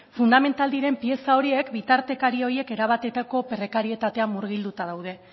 fundamental diren pieza horiek bitartekari horiek erabateko prekarietatean murgilduta daude